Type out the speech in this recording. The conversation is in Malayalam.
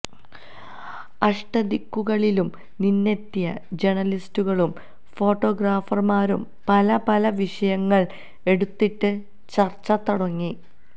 അഷ്ടദിക്കുകളിലും നിന്നെത്തിയ ജേണലിസ്റുകളും ഫോട്ടോഗ്രാഫര്മാരും പലപല വിഷയങ്ങള് എടുത്തിട്ട് ചര്ച്ച തുടങ്ങി